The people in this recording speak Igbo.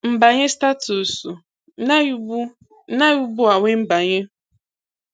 Mbanye Statusu Ị naghị ugbu Ị naghị ugbu a wee mbanye.